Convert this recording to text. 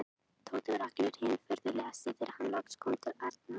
Tóti var allur hinn furðulegasti þegar hann loks kom til Arnar.